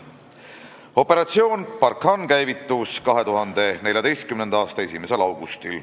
Operatsioon Barkhane käivitus 2014. aasta 1. augustil.